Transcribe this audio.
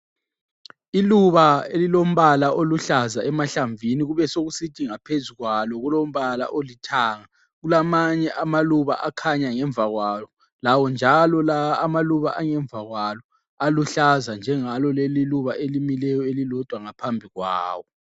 Iluba elilombala oluhlaza emahlamvini kubesokusithi ngaphezu kwalo kulombala olithanga, kulamanye amaluba akhanya ngemva kwalo, lawo njalo lawa amaluba angemva kwalo aluhlaza njengalo leli iluba elimileyo elilodwa ngaphambi kwawo.